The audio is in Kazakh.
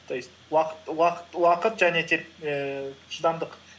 то есть уақыт уақыт уақыт және ііі шыдамдық